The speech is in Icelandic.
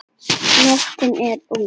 Nóttin er ung